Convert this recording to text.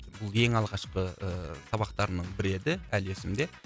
бұл ең алғашқы ыыы сабақтарымның бірі еді әлі есімде